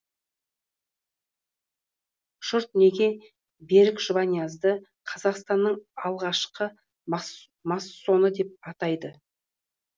жұрт неге берік жұбаниазды қазақстанның алғашқы массоны деп атайды